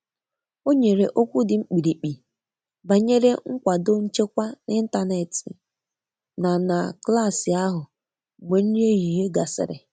O nyere okwu di mkpirikpi banyere nkwado nchekwa n'ịntanetị na na klas ahụ mgbe nri ehihie gasịrị.